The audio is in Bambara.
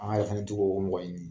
ko mɔgɔ ɲini.